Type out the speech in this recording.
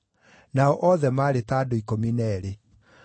Nao othe maarĩ ta andũ ikũmi na eerĩ.